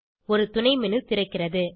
ஒரு துணை menu திறக்கிறது